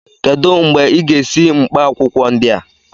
Kedụ mgbe ị ga-esi mkpaakwụkwọ ndị a?